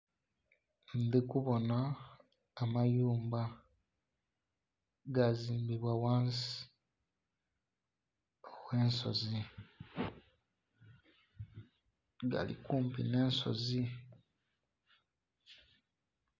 Ndhikubona amayumba gazimbibwa ghansi gh'ensozi gali kumpi nh'ensozi.